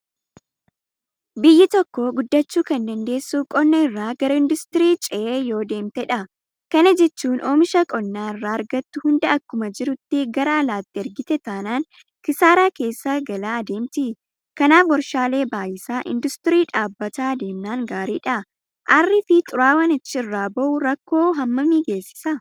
Biyyi tokko guddachuu kandandeessu qonna irraa gara induustiriitti cehaa yoodeemtedha. Kana jechuun oomisha qonna irraa argattu hunda akkuma jirutti gara alaatti ergite taanaan Kisaaraa keessa galaa adeemti. Kanaaf warshaalee baay'isaa; Induustirii dhaabaa deemnaan gaariidha. Aarriifi xuraawaan achi irraa bahu rakkoo hammamii geessisa?